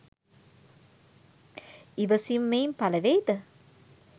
ඉවසීම මෙයින් පළ වෙයිද?